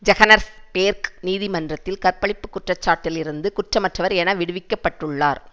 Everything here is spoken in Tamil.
ஜெஹனஸ்பேர்க் நீதிமன்றத்தில் கற்பழிப்பு குற்றச்சாட்டிலிருந்து குற்றமற்றவர் என விடுவிக்க பட்டுள்ளார்